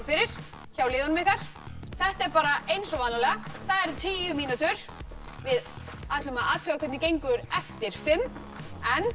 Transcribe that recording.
fyrir hjá liðunum ykkar þetta er bara eins og vanalega það eru tíu mínútur við ætlum að athuga hvernig gengur eftir fimm en